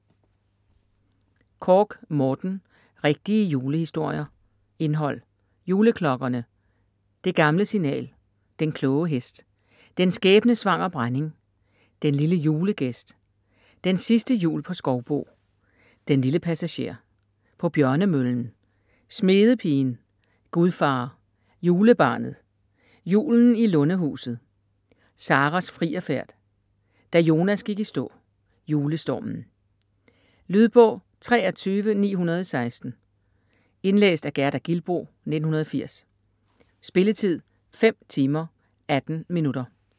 Korch, Morten: Rigtige julehistorier Indhold: Juleklokkerne; Det gamle signal; Den kloge hest; Den skæbnesvangre brænding; Den lille julegæst; Den sidste jul på Skovbo; Den lille passager; På Bjørnemøllen; Smedepigen; Gudfar; Julebarnet; Julen i Lundehuset; Saras frierfærd; Da Jonas gik i stå; Julestormen. Lydbog 23916 Indlæst af Gerda Gilboe, 1980. Spilletid: 5 timer, 18 minutter.